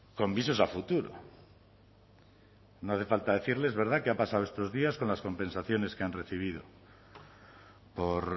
con visos a futuro no hace falta decirlo es verdad qué ha pasado estos días con las compensaciones que han recibido por